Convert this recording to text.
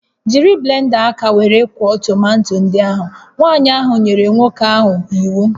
Jiri blenda aka were kwọọ tomato ndị ahụ! Nwanyị ahụ nyere nwa nwoke ahụ iwu